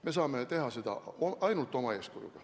Me saame midagi ära teha ainult oma eeskujuga.